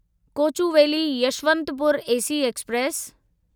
Kochuveli Yesvantpur AC express